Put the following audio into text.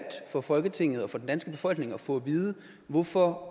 for folketinget og for den danske befolkning at få at vide hvorfor